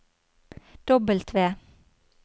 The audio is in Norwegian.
W